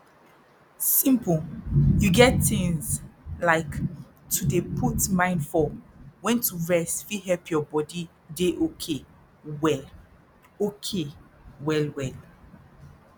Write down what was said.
simple you get tins like to dey put mind for wen to rest fit help your body dey okay well okay well well